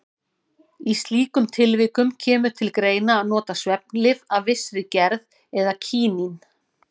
Í slíkum tilvikum kemur til greina að nota svefnlyf af vissri gerð eða kínín.